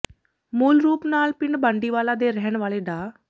ਮੂਲ ਰੂਪ ਨਾਲ ਪਿੰਡ ਬਾਂਡੀਵਾਲਾ ਦੇ ਰਹਿਣ ਵਾਲੇ ਡਾ